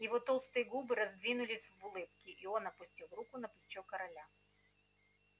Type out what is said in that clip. его толстые губы раздвинулись в улыбке и он опустил руку на плечо короля